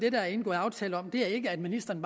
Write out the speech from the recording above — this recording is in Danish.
er indgået aftale om det er ikke at ministeren